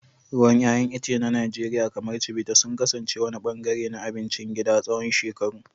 Ruwan 'ya'yan itace na Najeriya, kamar Chivita, sun kasance wani ɓangare na abincin gida tsawon shekaru.